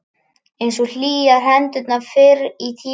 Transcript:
Einsog hlýjar hendurnar fyrr í tímanum.